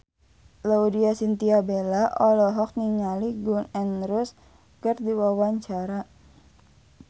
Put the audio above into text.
Laudya Chintya Bella olohok ningali Gun N Roses keur diwawancara